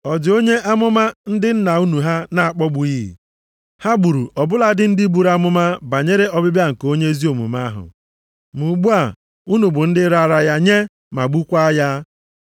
Ọ dị onye amụma ndị nna unu ha na-akpọgbughị? Ha gburu ọ bụladị ndị buru amụma banyere ọbịbịa nke onye ezi omume ahụ, ma ugbu a unu bụ ndị raara ya nye ma gbukwaa ya.